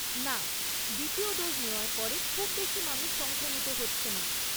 না, দ্বিতীয় ডোজ নেওয়ার পরে খুব বেশি মানুষ সংক্রমিত হচ্ছে না।